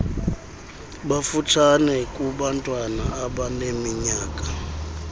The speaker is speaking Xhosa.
bafutshane kunabantwana abaneminyaka